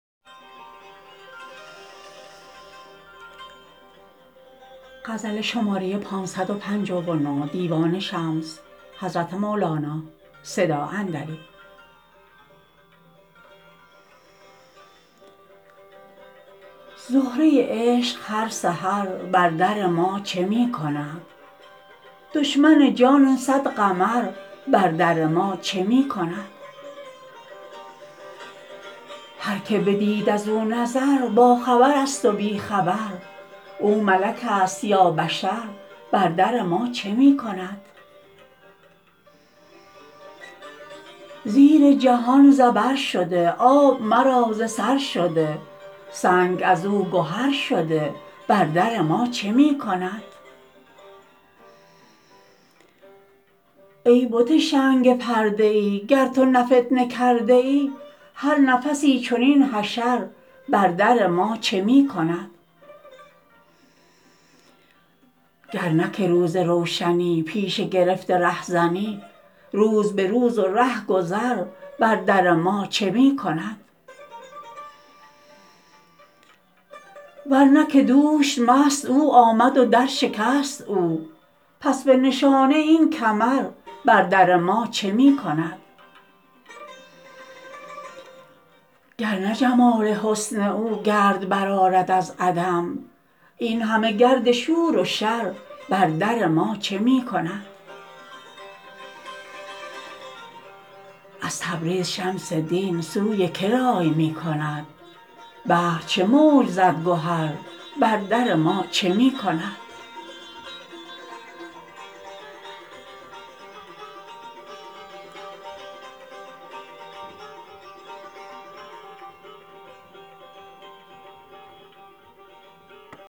زهره عشق هر سحر بر در ما چه می کند دشمن جان صد قمر بر در ما چه می کند هر که بدید از او نظر باخبرست و بی خبر او ملکست یا بشر بر در ما چه می کند زیر جهان زبر شده آب مرا ز سر شده سنگ از او گهر شده بر در ما چه می کند ای بت شنگ پرده ای گر تو نه فتنه کرده ای هر نفسی چنین حشر بر در ما چه می کند گر نه که روز روشنی پیشه گرفته رهزنی روز به روز و ره گذر بر در ما چه می کند ور نه که دوش مست او آمد و درشکست او پس به نشانه این کمر بر در ما چه می کند گر نه جمال حسن او گرد برآرد از عدم این همه گرد شور و شر بر در ما چه می کند از تبریز شمس دین سوی که رای می کند بحر چه موج زد گهر بر در ما چه می کند